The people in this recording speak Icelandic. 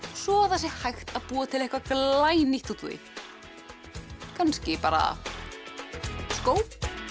svo það sé hægt að búa til eitthvað glænýtt úr því kannski bara skó